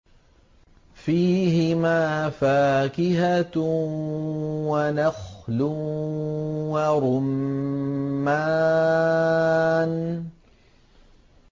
فِيهِمَا فَاكِهَةٌ وَنَخْلٌ وَرُمَّانٌ